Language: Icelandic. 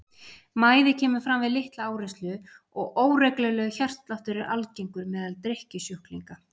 Mæði kemur fram við litla áreynslu og óreglulegur hjartsláttur er algengur meðal drykkjusjúklinga.